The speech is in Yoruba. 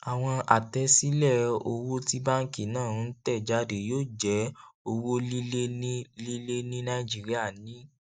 àwọn àtẹsílẹ owó tí banki náà ń tẹ jáde yóò jẹ owó líle ní líle ní nàìjíríà ní